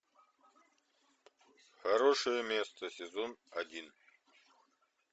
хорошее место сезон один